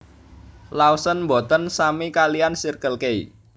Lawson mboten sami kaliyan Circle K